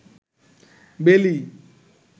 বেলি